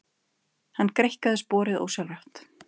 Hann greikkaði sporið ósjálfrátt.